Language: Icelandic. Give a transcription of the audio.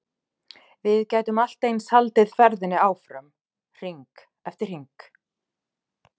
Við gætum allt eins haldið ferðinni áfram, hring eftir hring.